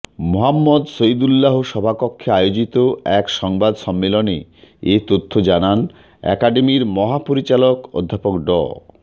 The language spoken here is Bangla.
মুহাম্মদ শহীদুল্লাহ সভাকক্ষে আয়োজিত এক সংবাদ সম্মেলনে এ তথ্য জানান একাডেমির মহাপরিচালক অধ্যাপক ড